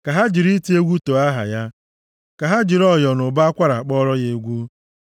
Ka ha jiri ite egwu too aha ya ka ha jiri ọyọ na ụbọ akwara kpọọrọ ya egwu.